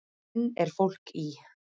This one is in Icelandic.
Enn er fólk í